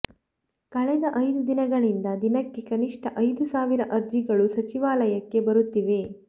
ಕಳೆದ ಐದು ದಿನಗಳಿಂದ ದಿನಕ್ಕೆ ಕನಿಷ್ಠ ಐದು ಸಾವಿರ ಅರ್ಜಿಗಳು ಸಚಿವಾಲಯಕ್ಕೆ ಬರುತ್ತಿವೆ